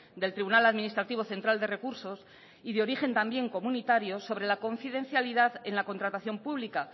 del tribunal administrativo central de recursos y de origen también comunitario sobre la confidencialidad en la contratación pública